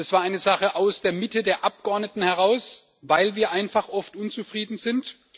Das war eine Sache aus der Mitte der Abgeordneten heraus, weil wir einfach oft unzufrieden sind.